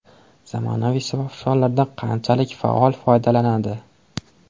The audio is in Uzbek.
Zamonaviy smartfonlardan qanchalik faol foydalanadi?